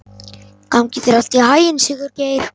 Gangi þér allt í haginn, Sigurgeir.